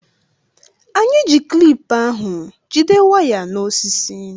Anyị ji klip ahụ jide waya na osisi